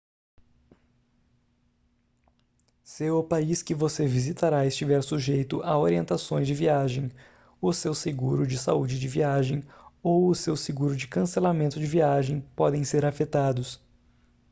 se o país que você visitará estiver sujeito à orientações de viagem o seu seguro de saúde de viagem ou o seu seguro de cancelamento de viagem podem ser afetados